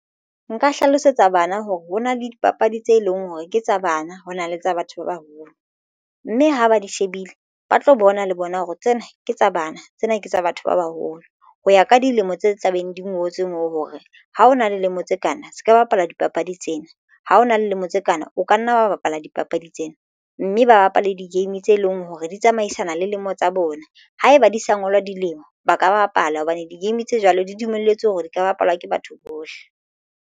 Nka hlalosetsa bana hore hona le dipapadi tse leng hore ke tsa bana ho na le tsa batho ba baholo mme ha ba di shebile ba tlo bona le bona hore tsena ke tsa bana tsena ke tsa batho ba baholo ho ya ka dilemo tse tla beng di ngotswe moo hore ha ho na le dilemo tse kana se ka bapala dipapadi tsena ha o na le dilemo tse kana o ka nna ba bapala dipapadi tsena mme ba bapale di-game tse leng hore di tsamaisana le lemo tsa bona ha eba di sa ngolwa dilemo ba ka bapala hobane di-game tse jwalo di dumelletswe hore di ka bapalwa ke batho bohle.